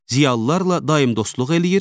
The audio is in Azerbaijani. ziyalılılarla daim dostluq eləyir,